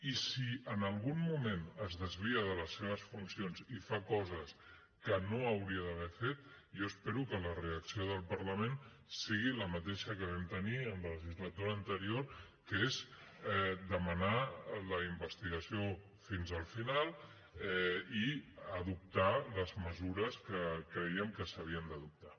i si en algun moment es desvia de les seves funcions i fa coses que no hauria d’haver fet jo espero que la reacció del parlament sigui la mateixa que vam tenir en la legislatura anterior que és demanar la investigació fins al final i adoptar les mesures que crèiem que s’havien d’adoptar